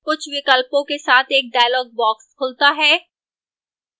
कुछ विकल्पों के साथ एक dialog box खुलता है